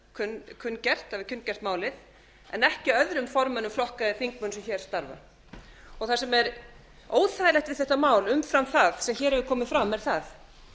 hafi verið málið kunngert málið en ekki öðrum formönnum flokka eða þingmönnum sem hér starfa það sem er óþægilegt við þetta mál umfram það sem hér hefur komið fram er að það